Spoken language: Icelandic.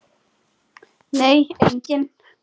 Nei, enginn.